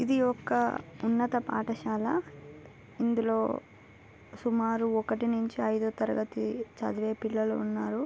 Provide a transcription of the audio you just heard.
ఇది ఒక ఉన్నత పాఠశాల. ఇందులో సుమారు ఒకటి నుంచి ఐదవ తరగతి చదివే పిల్లలు ఉన్నారు.